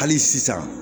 Hali sisan